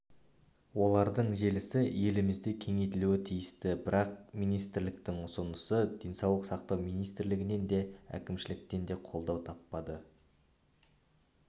олардың желісі елімізде кеңейтілуі тиісті бірақ министрліктің ұсынысы денсаулық сақтау министрлігінен де әкімшіліктен де қолдау таппады